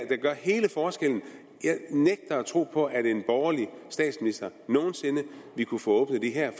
gør hele forskellen jeg nægter at tro på at en borgerlig statsminister nogen sinde ville kunne få åbnet det her